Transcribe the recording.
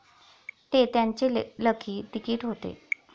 ते त्यांचेलकी तिकीट होते.